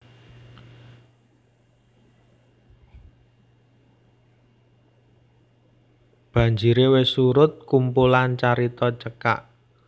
Banjire Wis Surut kumpulan carita cekak